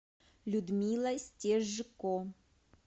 людмила стежко